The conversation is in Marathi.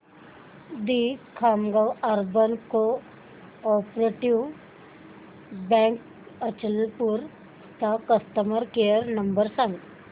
दि Khamgaon urban cooperative bank Achalpur चा कस्टमर केअर नंबर सांग